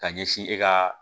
Ka ɲɛsin e ka